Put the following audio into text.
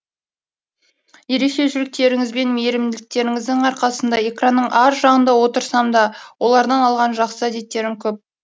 ерекше жүректеріңізбен мейірімділіктеріңіздің арқасында экранның ар жағында отырсам да олардан алған жақсы әдеттерім көп